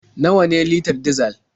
Nawa ne litar dizal?